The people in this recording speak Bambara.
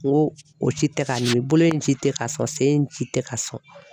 N ko o ci tɛ ka n nimi bolo in si tɛ ka sɔn sen in si tɛ ka sɔn.